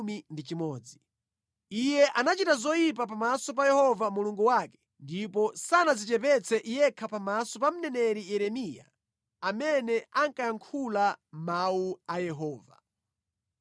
Iye anachita zoyipa pamaso pa Yehova Mulungu wake ndipo sanadzichepetse yekha pamaso pa mneneri Yeremiya amene ankayankhula mawu a Yehova.